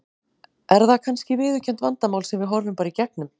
Er það kannski viðurkennt vandamál sem við horfum bara í gegnum?